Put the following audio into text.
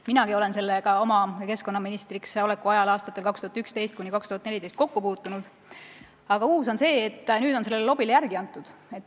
Minagi puutusin sellega oma keskkonnaministriks oleku ajal aastatel 2011–2014 kokku, aga uus on see, et nüüd on sellele lobile järele antud.